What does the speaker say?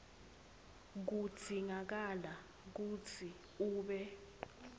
kudzingakala kutsi ube